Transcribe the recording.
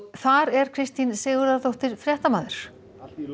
þar er Kristín Sigurðardóttir fréttamaður